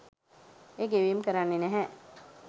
ඒ ගෙවීම් කරන්නෙ නැහැ.